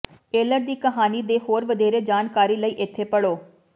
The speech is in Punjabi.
ਏਲਰ ਦੀ ਕਹਾਣੀ ਦੇ ਹੋਰ ਵਧੇਰੇ ਜਾਣਕਾਰੀ ਲਈ ਇਥੇ ਪੜ੍ਹੋ